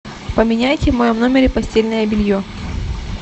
поменяйте в моем номере постельное белье